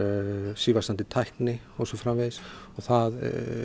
sívaxandi tækni og svo framvegis og það